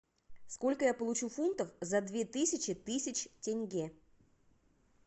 сколько я получу фунтов за две тысячи тысяч тенге